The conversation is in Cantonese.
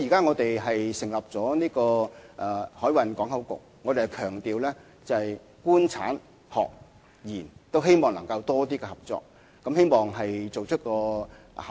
我們現時已成立了海運港口局，強調透過"官產學研"更充分的合作，希望做出效果。